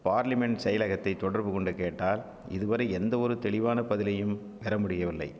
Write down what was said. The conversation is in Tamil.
பார்லிமென்ட் செயலகத்தை தொடர்புகொண்டு கேட்டால் இதுவரை எந்தவொரு தெளிவான பதிலையும் பெறமுடியவில்லை